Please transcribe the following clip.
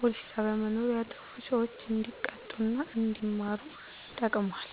ፖሊስ ጣቢያ መኖሩ ያጠፉ ሰዎች እንዲቀጡ እና አንዲማሩ ተጠቅሟል።